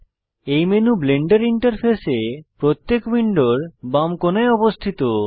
এই menu Blender ইন্টারফেসে প্রত্যেক উইন্ডোর বাম কোণায় উপস্থিত